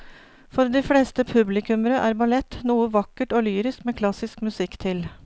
For de fleste publikummere er ballett noe vakkert og lyrisk med klassisk musikk til.